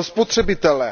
spotřebitele.